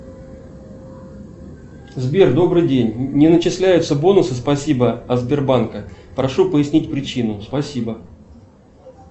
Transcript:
сбер добрый день не начисляются бонусы спасибо от сбербанка прошу пояснить причину спасибо